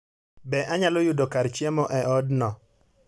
Be anyalo yudo kar chiemo e odno?